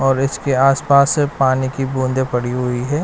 और इसके आसपास से पानी की बूँदे पड़ी हुई है।